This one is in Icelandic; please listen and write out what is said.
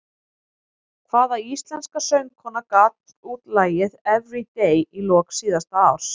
Hvaða íslenska söngkona gaf út lagið Everyday í lok síðasta árs?